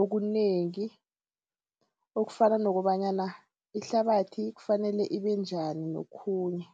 okunengi okufana nokobanyana ihlabathi kufanele ibe njani nokhunye.